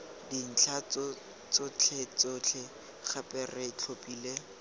dintlha tsotlhetsotlhe gape re tlhophile